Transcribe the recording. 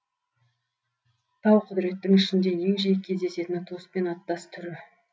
тауқұдіреттің ішінде ең жиі кездесетіні туыспен аттас түрі